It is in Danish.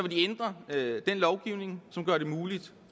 de ændre den lovgivning som gør det muligt